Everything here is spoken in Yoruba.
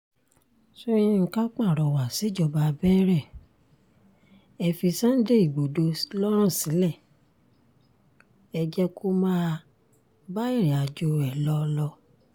sọ̀yìnkà pàrọwà síjọba bẹ́rẹ̀ ẹ fi sunday igbodò lọ́rùn sílẹ̀ o ẹ jẹ́ kó máa bá irìnàjò ẹ lọ lọ